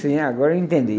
sim, agora eu entendi.